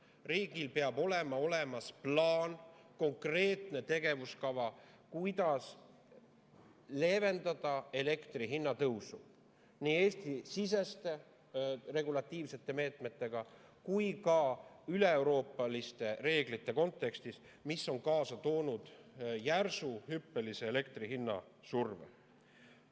Riigil peab olema olemas plaan, konkreetne tegevuskava, kuidas leevendada elektri hinna tõusu nii Eesti-siseste regulatiivsete meetmetega kui ka üleeuroopaliste reeglite kontekstis, mis on kaasa toonud järsu, hüppelise elektri hinna surve.